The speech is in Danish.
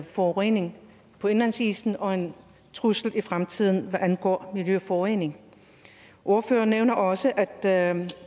forurening på indlandsisen og en trussel i fremtiden hvad angår miljøforurening ordføreren nævner også at